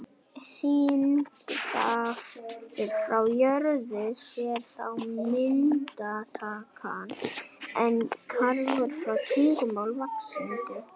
Þyngdarkrafturinn frá jörð fer þá minnkandi en krafturinn frá tungli vaxandi.